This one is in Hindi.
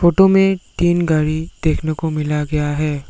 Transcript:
तुम्हें तीन गाडी देखने को मिला गया है।